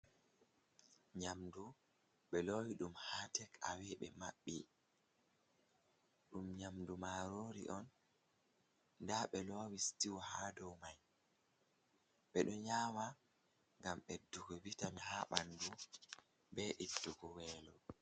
Nyamdu ɓelowi ɗum haa tekawe be maɓɓi, ɗum nyamdu marori'on , nda ɓe lowi sitiwu hadow mai, nyamdu ɓeɗon nyama ngam ɓesdugo vitamin haa ɓandu bee ittugo weelo.